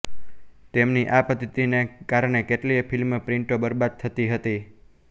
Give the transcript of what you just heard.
તેમની આ પદ્ધતિને કારણે કેટલીય ફિલ્મ પ્રિન્ટો બરબાદ થતી હતી